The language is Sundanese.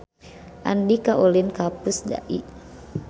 Andika ulin ka Pusdai